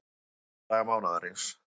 Unnið alla daga mánaðarins